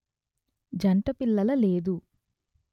జంట పిల్లల లేదు